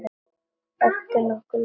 Ertu nokkuð löngu kominn?